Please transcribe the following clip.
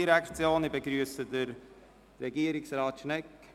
Ich begrüsse Herrn Regierungsrat Schnegg.